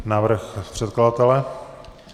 Návrh předkladatele?